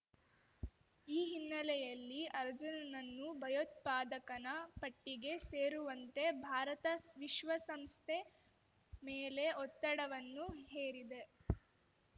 ಈ ಹಿನ್ನೆಲೆಯಲ್ಲಿ ಅಜರ್‌ನನ್ನು ಭಯೋತ್ಪಾದಕನ ಪಟ್ಟಿಗೆ ಸೇರುವಂತೆ ಭಾರತ ವಿಶ್ವಸಂಸ್ಥೆ ಮೇಲೆ ಒತ್ತಡವನ್ನು ಹೇರಿದೆ